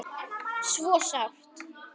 Svo sárt.